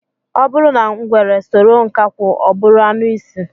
O buru na ngwere soro nkakwu, oburu anuisi